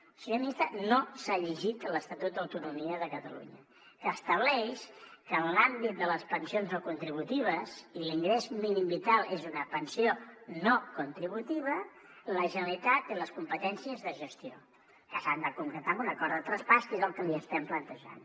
el senyor ministre no s’ha llegit l’estatut d’autonomia de catalunya que estableix que en l’àmbit de les pensions no contributives i l’ingrés mínim vital és una pensió no contributiva la generalitat té les competències de gestió que s’han de concretar en un acord de traspàs que és el que li estem plantejant